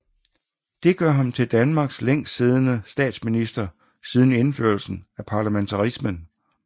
Det gør ham til landets længst siddende statsminister siden indførelsen af parlamentarismen